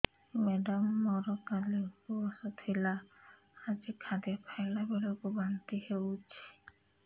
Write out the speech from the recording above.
madam ମୋର କାଲି ଉପବାସ ଥିଲା ଆଜି ଖାଦ୍ୟ ଖାଇଲା ବେଳକୁ ବାନ୍ତି ହେଊଛି